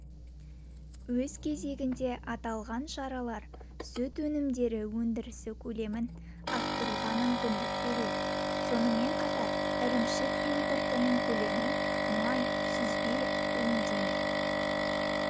өз кезегінде аталған шаралар сүт өнімдері өндірісі көлемін арттыруға мүмкіндік береді сонымен қатар ірімшік импортының көлемі май сүзбе төмендемек